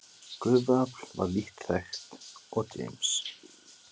Gufuafl var lítt þekkt og James